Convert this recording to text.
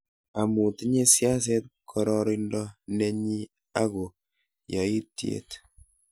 amu tinyei siaset gororonindo nenyi ako yaityet